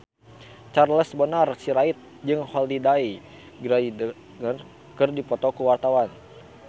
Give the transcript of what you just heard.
Charles Bonar Sirait jeung Holliday Grainger keur dipoto ku wartawan